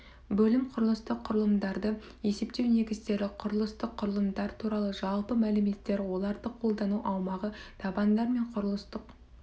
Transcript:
бөлім құрылыстық құрылымдарды есептеу негіздері құрылыстық құрылымдар туралы жалпы мәліметтер оларды қолдану аумағы табандар мен құрылыстық